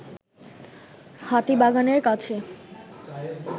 হাতিবাগানের কাছে